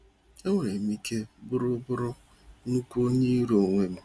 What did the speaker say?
Enwerem ike bụrụ bụrụ nnukwu onye iro onwe m.